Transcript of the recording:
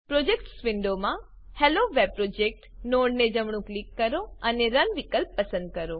projects વિન્ડોમાં Hello Web project નોડને જમણું ક્લિક કરો અને રન વિકલ્પ પસંદ કરો